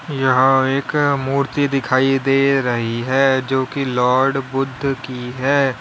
यहां एक मूर्ति दिखाइ दे रही है जो की लॉर्ड बुद्ध की है।